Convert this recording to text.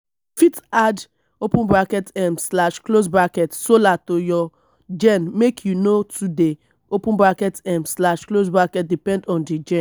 you fit add um solar to your gen make you no too dey um depend on di gen